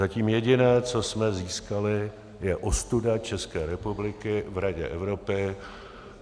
Zatím jediné, co jsme získali, je ostuda České republiky v Radě Evropy.